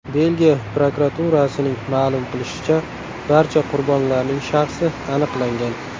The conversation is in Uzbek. Belgiya prokuraturasining ma’lum qilishicha, barcha qurbonlarning shaxsi aniqlangan.